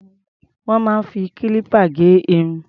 Wọ́n máa ń fi kílípà gé irun.